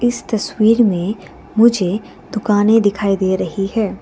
इस तस्वीर में मुझे दुकानें दिखाई दे रही है।